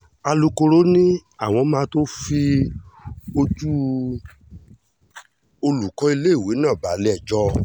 alukoro ni àwọn máa tóó fi ojúu olùkọ́ iléèwé náà balẹ̀-ẹjọ́